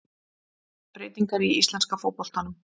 Breytingar í íslenska fótboltanum